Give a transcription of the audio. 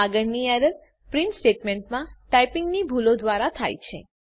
આગળની error print સ્ટેટમેંટમાં ટાઈપીંગની ભૂલો દ્વારા થાય છે